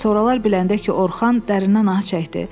Soralar biləndə ki, Orxan dərin ah çəkdi.